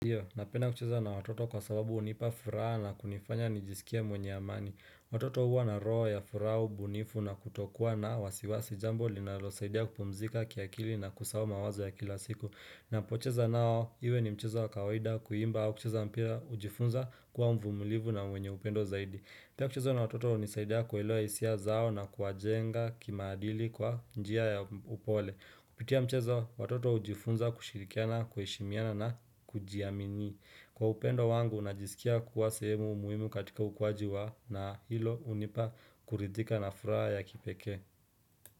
Ndiyo, napenda kucheza na watoto kwa sababu hunipa furaha na kunifanya nijisikie mwenye amani. Watoto huwa na roo ya furaha, ubunifu na kutokuwa na wasiwasi jambo linalosaidia kupumzika kiakili na kusahau mawazo ya kila siku. Napocheza nao, iwe ni mchezo kawaida kuimba au kucheza mpira hujifunza kuwa mvumulivu na mwenye upendo zaidi. Pia kucheza na watoto unisaidia kuelewa hisia zao na kuwajenga kimaadili kwa njia ya upole. Kupitia mchezo, watoto hujifunza kushirikiana, kuheshimiana na kujiamini. Kwa upendo wangu, najisikia kuwa sehemu muhimu katika hukuaji wao na hilo hunipa kuridhika na furaha ya kipekee.